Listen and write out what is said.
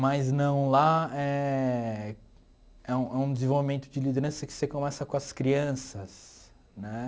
Mas não lá eh... É é um desenvolvimento de liderança que você começa com as crianças né.